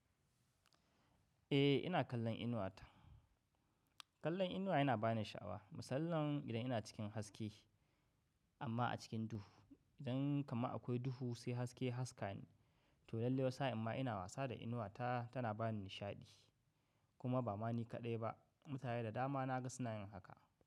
Eh ina kallon inuwa ta. Kallon inuwa yana bani sha'awa. Misalan idan ina cikin haske, amma a cikin duhu, idan kama akwai duhu sai haske ya haska ni, to lallai wasa amma ina wasa da inuwa ta, tana bani nishaɗi. Kuma ba mani kaɗai ba, mutane da dama na ga suna yin haka.